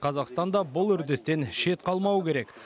қазақстан да бұл үрдістен шет қалмауы керек